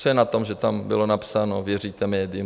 Co je na tom, že tam bylo napsáno Věříte médiím?